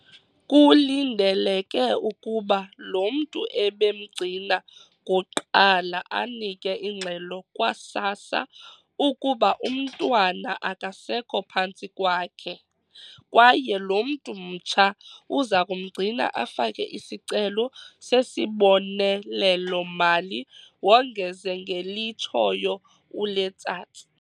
"Kulindeleke ukuba lo mntu ebemgcina kuqala anike ingxelo kwa-SASSA ukuba umntwana akasekho phantsi kwakhe, kwaye lo mntu mtsha uza kumgcina afake isicelo sesibonelelo-mali," wongeze ngelitshoyo uLetsatsi.